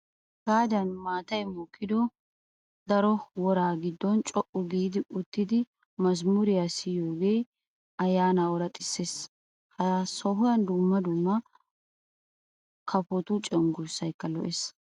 Hagaadan maatayi mokkido daro woraa giddon co''u giidi uttidi mazmuriyaa siyoogee ayyaanaa ooraxisses. Ha sohuwaan dumma dumma kapotu cenggurssayikka lo'es.